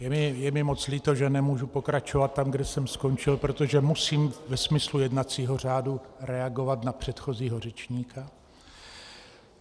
Je mi moc líto, že nemůžu pokračovat tam, kde jsem skončil, protože musím ve smyslu jednacího řádu reagovat na předchozího řečníka.